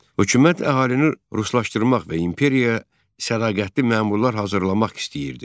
Hökumət əhalini ruslaşdırmaq və imperiyaya sədaqətli məmurlar hazırlamaq istəyirdi.